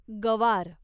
गवार